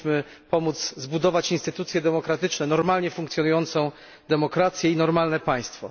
powinniśmy pomóc zbudować instytucje demokratyczne, normalnie funkcjonującą demokrację i normalne państwo.